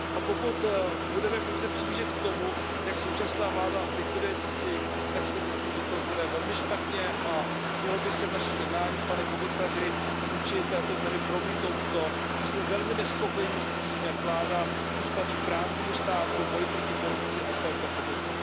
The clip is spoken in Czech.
Pokud budeme pouze přihlížet tomu, jak současná vláda likviduje CICIG, tak si myslím, že to bude velmi špatně, a mělo by se v našich jednáních, pane komisaři, vůči této zemi promítnout to, že jsme velmi nespokojeni s tím, jak se vláda staví k právnímu státu, k boji proti korupci a k této komisi.